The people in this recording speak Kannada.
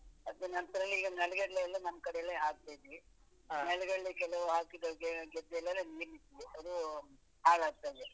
ಅದ್ರ ನಂತ್ರ ಈಗ ನೆಲಗಡಲೆ ಎಲ್ಲ ನಮ್ಮ್ ಕಡೆಯಲ್ಲಿ ಹಾಕಿದ್ವಿ. ನೆಲಗಡಲೆ ಕೆಲವು ಹಾಕಿದ್ದೆಲ್ಲಾ ಗದ್ದೆಲೆಲ್ಲ ಅದು ಹಾಳಾಗ್ತದೆ.